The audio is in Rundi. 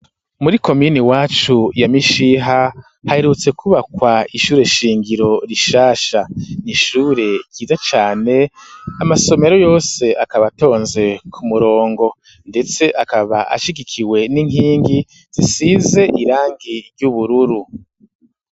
Muri komine iwacu ya Mishiha haherutse kubakwa ishure shingiro rishasha, n'ishure ryiza cane amasomero yose akaba atonze ku murongo ,ndetse akaba ashigikiwe n'inkingi zisize irangi ry'ubururu.